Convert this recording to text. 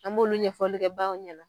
An b'olu ɲɛfɔli kɛ baw ɲɛna